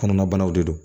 Kɔnɔna banaw de don